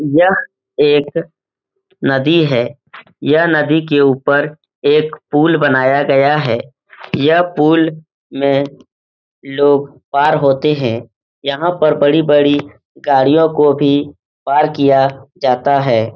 यह एक नदी है। यह नदी के ऊपर एक पुल बनाया गया है। यह पुल में लोग पार होते हैं। यहाँ पर बड़ी बड़ी गाड़ियों को भी पार किया जाता है।